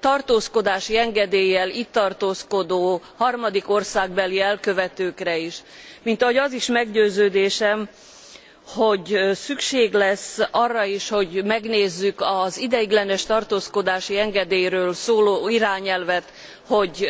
tartózkodási engedéllyel itt tartózkodó harmadik országbeli elkövetőkre is, mint ahogy az is meggyőződésem, hogy szükség lesz arra is, hogy megnézzük az ideiglenes tartózkodási engedélyről szóló irányelvet, hogy